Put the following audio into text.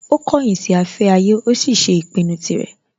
Ó kọ̀yìn sí afẹ́ ayé, ó sì ṣe ìpinnu tirẹ̀